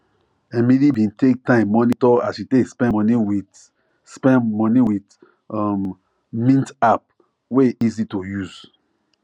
emily bin take time monitor as she take spend money with spend money with um mint app wey easy to use